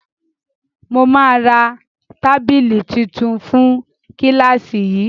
Mo ma ra tábìlì tuntun fún kílàsì yìí.